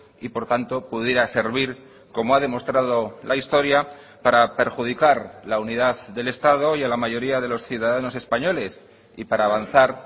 y por tanto pudiera servir como ha demostrado la historia para perjudicar la unidad del estado y a la mayoría de los ciudadanos españoles y para avanzar